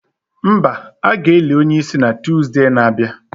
Mba, a ga-eli onye isi na Tuzdee na-abịa